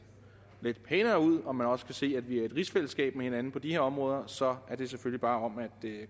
pænere ud og man også kan se at vi er i et rigsfællesskab med hinanden på de her områder så er det selvfølgelig bare om at